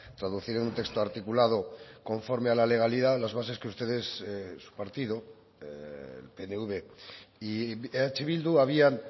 traducir en un texto articulado conforme a la legalidad las bases que ustedes su partido pnv y eh bildu habían